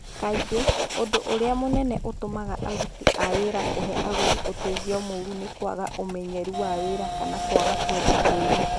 Kaingĩ, ũndũ ũrĩa mũnene ũtũmaga aruti a wĩra kũhe agũri ũteithio mũũru nĩ kwaga ũmenyeru wa wĩra kana kwaga kwenda kwĩruta.